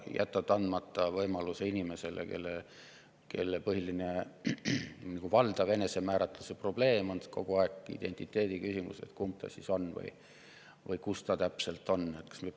Jätame andmata võimaluse inimesele, kelle valdav enesemääratluse probleem seisneb kogu aeg identiteediküsimuses, kumb ta siis on või kus ta täpselt on?